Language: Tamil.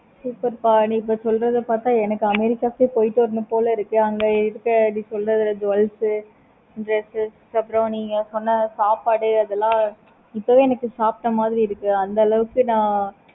super ப நீ இப்ப சொல்றத பார்த்த america க்கே போயிட்டு வரணும் போல இருக்கு. அங்க இருக்க நீ சொல்றதுல jewels உ dress உ அப்பறம் நீங்க சொன்ன சாப்பாடு இதெல்லாம் இப்பவே எனக்கு சாப்பிட்ட மாதிரி இருக்கு. அந்த அளவுக்கு நா